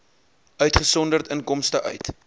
uitgesonderd inkomste uit